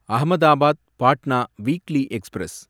Ahmedabad Patna weekly express